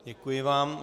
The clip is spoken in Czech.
Děkuji vám.